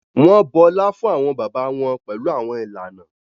Wọn bọla fun awọn bàbà wọn pẹlu awọn ìlànà